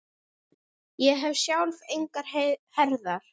Ég hef sjálf engar herðar.